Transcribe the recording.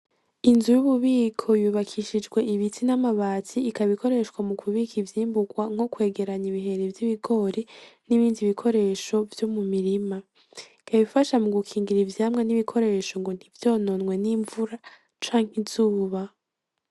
Inzu y'ububiko yubakishijwe ibiti n'amabati ikaba ikoreshwa mu kubika ivyimbugwa nko kwegeranya ibihere vy'ibigori n'ibindi bikoresho vyo mu mirima, ikaba ifasha mu gukingira n'ibikoresho ngo ntivyononwe n'invura canke izuba.